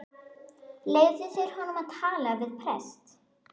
Leyfðu þeir honum að tala við prest?